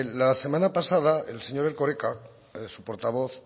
la semana pasada el señor erkoreka su portavoz